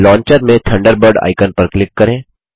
launcher में Thunderbird icon पर click करें